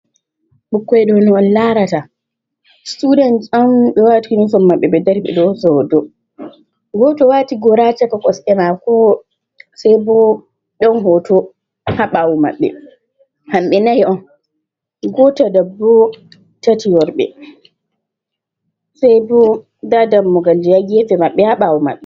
Ɓikkoi ɗo no on laarata, students on ɓe wati uniform maɓɓe ɓe dari ɓe ɗo hoosa hoto. Goto ɗo waati gora haa caka kosɗe maako, sai bo ɗon hoto haa ɓawo maɓɓe. Hamɓe nai on, goto debbo, tati worɓe, sai bo nda dammugal ji haa gefe maɓɓe, haa ɓaawo maɓɓe.